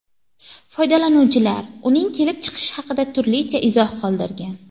Foydalanuvchilar uning kelib chiqishi haqida turlicha izoh qoldirgan.